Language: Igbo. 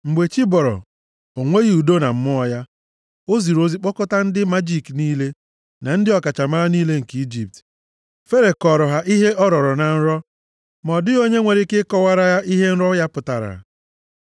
Mgbe chi bọrọ, o nweghị udo na mmụọ ya. O ziri ozi kpọkọta ndị majiki niile, na ndị ọkachamara niile nke Ijipt. Fero kọọrọ ha ihe ọ rọrọ na nrọ. Ma ọ dịghị onye nwere ike ịkọwara ya ihe nrọ ya pụtara.